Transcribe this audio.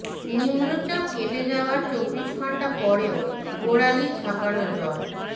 নিম্নচাপ কেটে যাওয়ার চব্বিশ ঘণ্টা পরও গোড়ালি ছাপানো জল